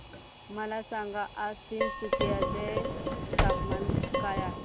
मला सांगा आज तिनसुकिया चे तापमान काय आहे